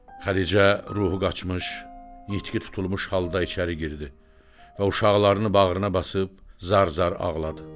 Xədicə ruhu qaçmış, yitki tutulmuş halda içəri girdi və uşaqlarını bağrına basıb zar-zar ağladı.